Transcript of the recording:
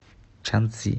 чанцзи